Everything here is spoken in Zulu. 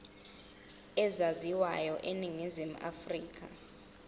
ezaziwayo eningizimu afrika